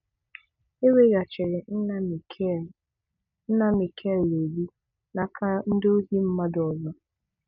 E weghachiri nna Mikel nna Mikel Obi n’aka ndị ohi mmadụ ọzọ.